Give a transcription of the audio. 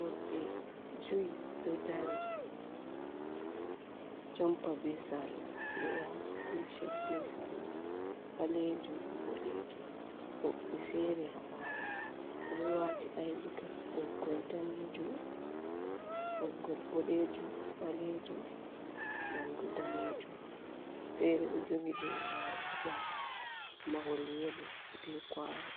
Worɓe juyi ɗo dari duhi jompa be salla, ɓe waati ticet be salla ɓaleejum ,boɗeejum. Woɓɓe feere haa ɓaawo ɓe ɗo waati aydikat ɓoggol daneejum, ɓoggol boɗeejum, ɓaleejum banta daneejum. Goɗɗo feere ɗo jogi leemaru haa ɓaawo mahol yelo be kuwano